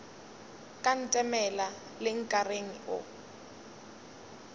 ka ntemela le nkareng o